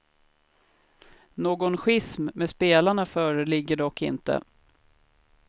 Någon schism med spelarna föreligger dock inte.